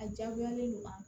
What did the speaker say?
A diyagoyalen don wa